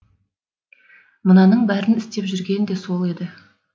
мынаның бәрін істеп жүрген де сол еді